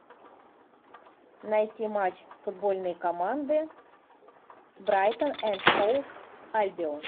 найти матч футбольной команды брайтон энд хоув альбион